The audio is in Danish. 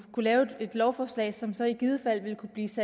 lave et lovforslag at som så i givet fald vil kunne tages